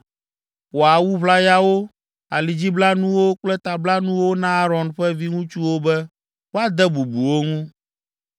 “Wɔ awu ʋlayawo, alidziblanuwo kple tablanuwo na Aron ƒe viŋutsuwo be woade bubu wo ŋu.